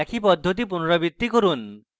একই পদ্ধতি পুনরাবৃত্তি করুন